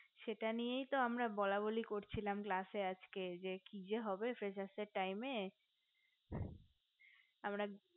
সেটা নিয়েই তো আমরা আছকে বলা বলি করছিলাম class এ যে কি যে হবে freshers এর time এ আমরা